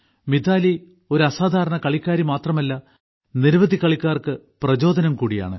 മിതാലി ഒരു അസാധാരണ കളിക്കാരി മാത്രമല്ല നിരവധി കളിക്കാർക്ക് പ്രചോദനം കൂടിയാണ്